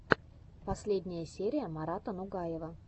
последняя серия марата нугаева